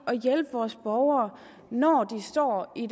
at hjælpe vores borgere når de står i